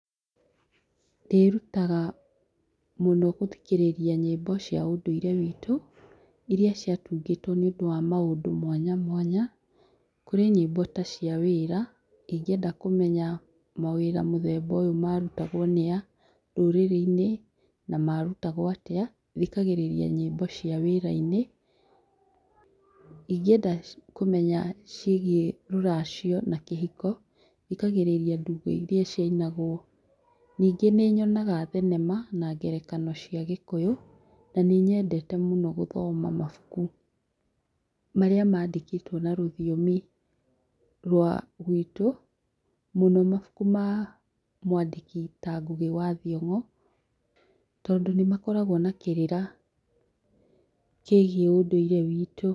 Ndĩrutaga mũno gũthikĩrĩria nyĩmbo cia ũndũire witũ iria cia tungĩtwo nĩ ũndũ wa maũndũ mwanya mwanya kũrĩ nyĩmbo ta cia wĩra ingĩenda kũmenya mawĩra mũthemba ũyũ marutagwo nĩ a rũrĩrĩ-inĩ na marutagwo atĩa thikagĩrĩria nyĩmbo cia wĩra-inĩ, ingĩenda kũmenya ciĩgie rũracio na kĩhiko thikagĩrĩria ndumbo iria cia inagwo ningĩ nyonaga thenema na ngerekano cia gĩkũyũ na nĩ nyendete mũno gũthoma mabuku marĩa mandĩkĩtwo na rũthiomi rwa gwitũ mũno mabuku maa mwandĩki ya Ngũgĩ wa Thiong'o tondũ nĩ makoragwo na kĩrĩra kĩgie ũndũire witũ.